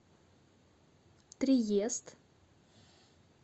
триест